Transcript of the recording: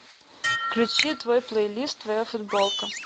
включи твой плейлист твоя футболка